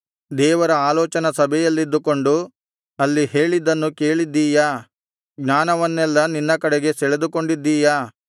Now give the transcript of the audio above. ದೇವರ ಆಲೋಚನಾ ಸಭೆಯಲ್ಲಿದ್ದುಕೊಂಡು ಅಲ್ಲಿ ಹೇಳಿದ್ದನ್ನು ಕೇಳಿದ್ದೀಯಾ ಜ್ಞಾನವನ್ನೆಲ್ಲಾ ನಿನ್ನ ಕಡೆಗೆ ಸೆಳೆದುಕೊಂಡಿದ್ದೀಯಾ